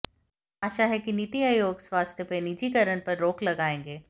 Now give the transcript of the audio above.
आशा है कि नीति आयोग स्वास्थ्य में निजीकरण पर रोक लगाएगा